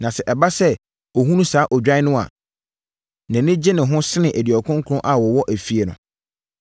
Na sɛ ɛba sɛ ɔhunu saa odwan no a, nʼani gye ne ho sene aduɔkron nkron a wɔwɔ efie no.